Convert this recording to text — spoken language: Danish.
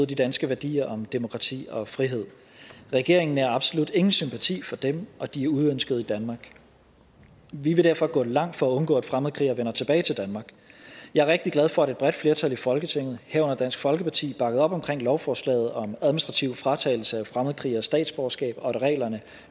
de danske værdier om demokrati og frihed regeringen nærer absolut ingen sympati for dem og de er uønskede i danmark vi vil derfor gå langt for at undgå at fremmedkrigere vender tilbage til danmark jeg er rigtig glad for at et bredt flertal i folketinget herunder dansk folkeparti bakkede op omkring lovforslaget om administrativ fratagelse af fremmedkrigeres statsborgerskab og at reglerne